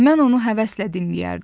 Mən onu həvəslə dinləyərdim.